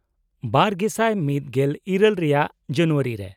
-᱒᱐᱑᱘ ᱨᱮᱭᱟᱜ ᱡᱟᱱᱩᱭᱟᱨᱤ ᱨᱮ ᱾